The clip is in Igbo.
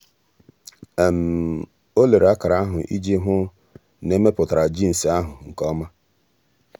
ọ́ lère ákàrà ahụ́ iji hụ́ na è mèpụ́tàrà jiinsị ahụ́ nke ọma.